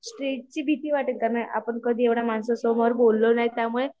स्टेजची भीती वाटत तर नाही आपण कधी एवढ्या माणसांसमोर बोललो नाही त्यामुळे